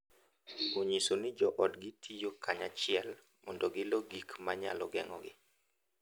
Onyiso ni joodgi tiyo kanyachiel mondo gilo gik ma nyalo geng’ogi,